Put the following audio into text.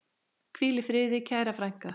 Hvíl í friði, kæra frænka.